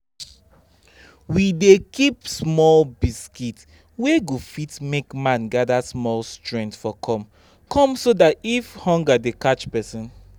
we dey keep small biscuit wey go fit make man gather small strength for kom-kom so that if hunger dey catch person